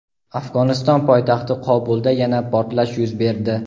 Afg‘oniston poytaxti Qobulda yana portlash yuz berdi.